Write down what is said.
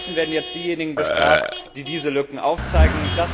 Stattdessen werden jetzt diejenigen bestraft, die diese Lücken aufzeigen.